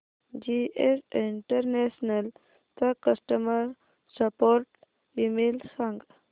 GS international चा customer support email सांग